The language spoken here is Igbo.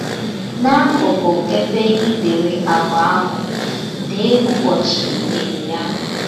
N’akụkụ ebe i dere àgwà ahụ, dee ụbọchị i dere ya.